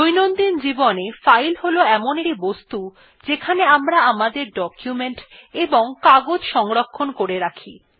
দৈনন্দিন জীবনে ফাইল হল এমন একটি বস্তু যেখানে আমরা আমাদের ডকুমেন্ট এবং কাগজ সংরক্ষণ করে রাখি